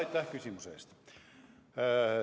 Aitäh küsimuse eest!